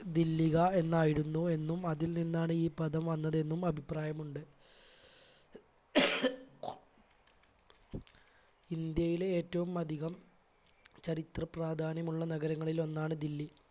ദില്ലിക എന്നായിരുന്നു എന്ന് അതിൽ നിന്നാണ് ഈ പദം വന്നത് എന്നും അഭിപ്രായമുണ്ട്. ഇന്ത്യയിലെ ഏറ്റവും അധികം ചരിത്ര പ്രാധാന്യമുള്ള നഗരങ്ങളിൽ ഒന്നാണ് ദില്ലി.